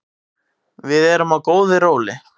Við erum á góðu róli